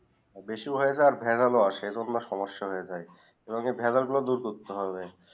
বেশি হয়ে ভ্যানল এইটা সমস্যা হয়ে জায়ি রোমাকে ভায়না গুলু ডোর করতে হবে